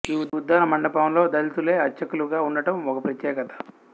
ఈ ఉద్దాల మండపంలో దళితులే అర్చకులుగా వుండటం ఒక ప్రత్యేకత